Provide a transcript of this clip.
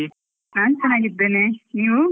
ನಾನ್ ಚನ್ನಗಿದ್ದೇನೆ, ನೀವು?